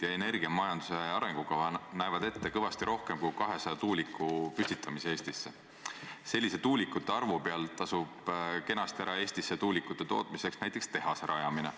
Ju on siis aluseks võetud see, et nafta hind maailmaturul alla teatud piiri pikemas perioodis ei lange – võib langeda lühemas perioodis, aga pikemas plaanis ei lange.